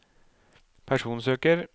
personsøker